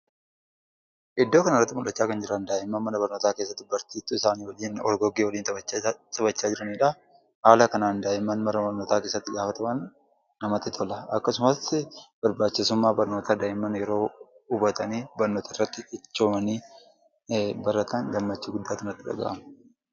Iddoo kana irratti mul'acha kan jiran, da'imman mana barnoota keessaa kan jiran barsiftuu isaanii wajjiin taphacha jiraanidha. Haala kanaan da'imman yeroo mana barnoota keessatti taphatan namatti tola. Akkasumaas barbachisummaa barnootaa da'imman yeroo hubataanii, barnoota irratti cichoomanii baratan gammachuu guddatu nati dhaga'ama.